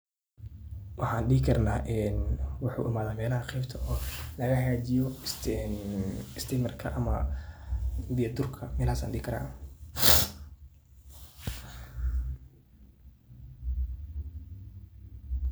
Waxaan dhihi karnaa een wuxuu imaade meelaha qeybta oo laga hagaajiyo istiimarka ama biya durka, meelahaas aan dhihi karaa.